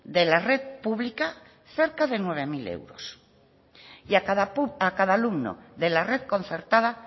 de la red pública cerca de nueve mil euros y a cada alumno de la red concertada